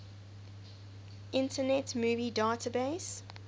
internet movie database